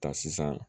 Ta sisan